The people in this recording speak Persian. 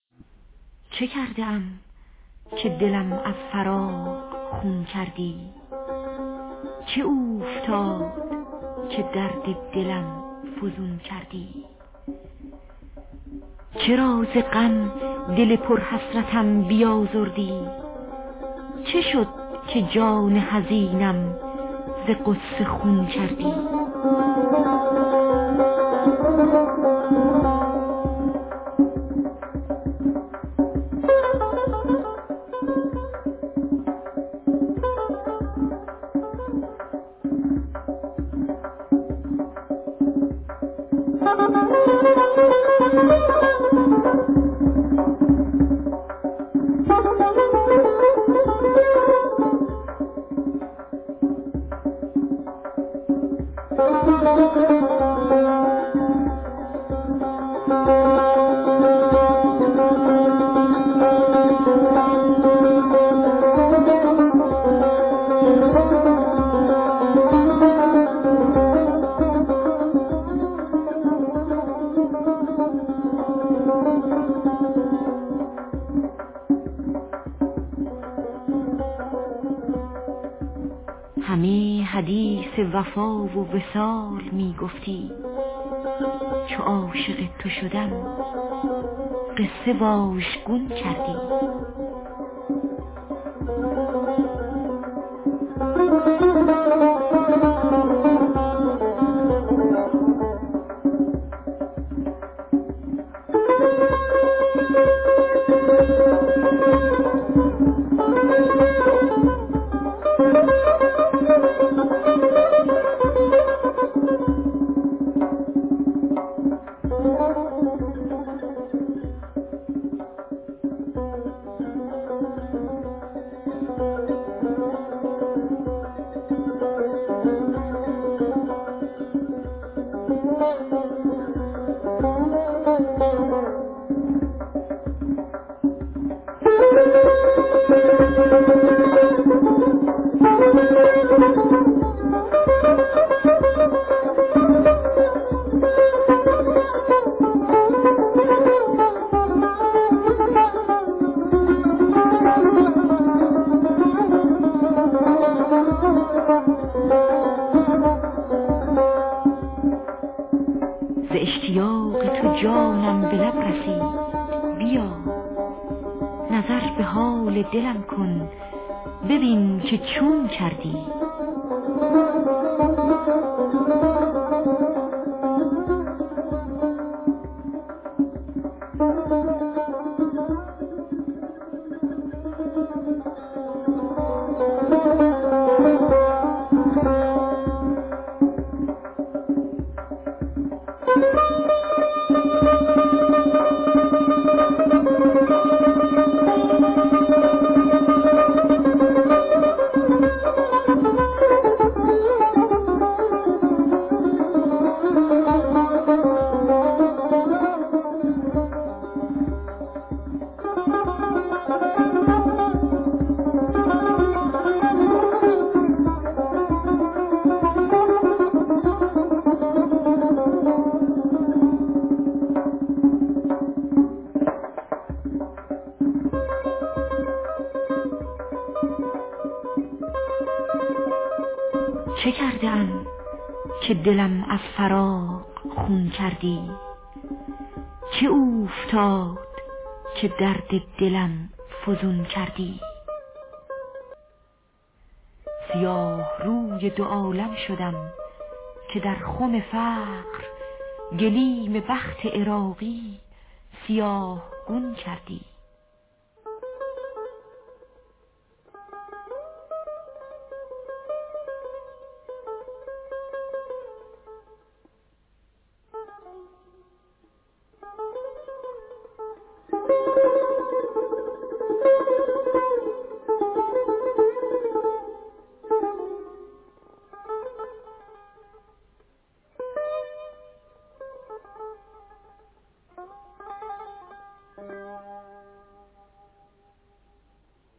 چه کرده ام که دلم از فراق خون کردی چه اوفتاد که درد دلم فزون کردی چرا ز غم دل پر حسرتم بیازردی چه شد که جان حزینم ز غصه خون کردی نخست ار چه به صد زاریم درون خواندی به آخر از چه به صد خواریم برون کردی همه حدیث وفا و وصال می گفتی چو عاشق تو شدم قصه واژگون کردی ز اشتیاق تو جانم به لب رسید بیا نظر به حال دلم کن ببین که چون کردی لوای عشق برافراختی چنان در دل که در زمان علم صبر سرنگون کردی کنون که با تو شدم راست چون الف یکتا ز بار محنت پشتم دو تا چو نون کردی نگفته بودی بیداد کم کنم روزی چو کم نکردی باری چرا فزون کردی هزار بار بگفتی نکو کنم کارت نکو نکردی و از بد بتر کنون کردی به دشمنی نکند هیچ کس به جان کسی که تو به دوستی آن با من زبون کردی بسوختی دل و جانم گداختی جگرم به آتش غمت از بس که آزمون کردی کجا به درگه وصل تو ره توانم یافت چو تو مرا به در هجر رهنمون کردی سیاه روی دو عالم شدم که در خم فقر گلیم بخت عراقی سیاه گون کردی